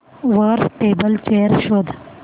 वर table chair शोध